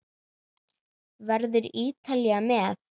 Verður Ítalía með?